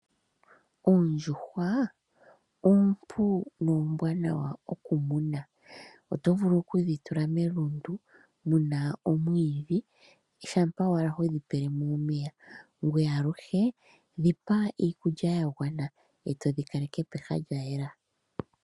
Oondjuhwa oompu noombwanawa okumuna. Oto vulu okudhi tula melundu muna omwiidhi, shampa owala hodhi pelemo omeya . Ngoye aluhe dhi pa iikulya ya gwana , eto dhi kaleke pehala lya yela.